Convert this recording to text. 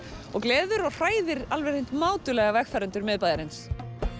og gleðir og hræðir alveg hreint mátulega vegfarendur miðbæjarins